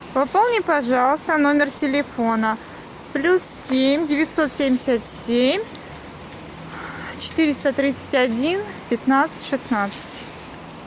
пополни пожалуйста номер телефона плюс семь девятьсот семьдесят семь четыреста тридцать один пятнадцать шестнадцать